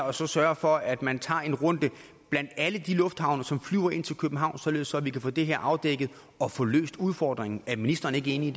og sørge for at man tager en runde blandt alle de lufthavne som flyver ind til københavn således at vi kan få det her afdækket og få løst udfordringen er ministeren ikke enig